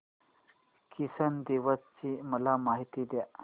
किसान दिवस ची मला माहिती दे